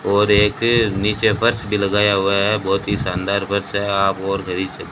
और एक नीचे फर्श भी लगाया हुआ है बहुत ही शानदार फर्श है आप गौर कर ही सक--